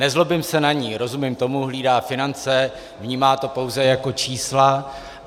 Nezlobím se na ni, rozumím tomu, hlídá finance, vnímá to pouze jako čísla.